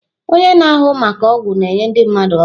Onye na-ahụ maka ọgwụ na-enye ndị mmadụ ọgwụ.